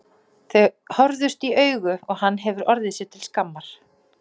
Þau horfðust í augu og hann hefur orðið sér til skammar.